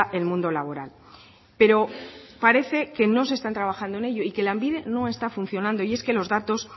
el mundo laboral pero parece que no se está trabajando en ello y que lanbide no está funcionando y es que los datos